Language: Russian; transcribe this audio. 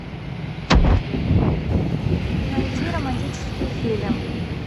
найди романтический фильм